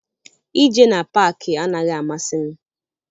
Ije na paakị anaghị amasị m.